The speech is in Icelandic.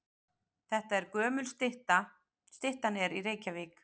Þetta er gömul stytta. Styttan er í Reykjavík.